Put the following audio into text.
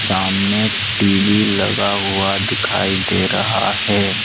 सामने टी_वी लगा हुआ दिखाई दे रहा है।